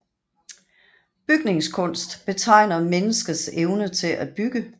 Bygningskunst betegner menneskets evne til at bygge